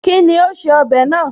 Kíni ó ṣe ọbẹ̀ náà?